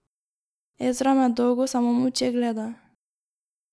Ezra me dolgo samo molče gleda.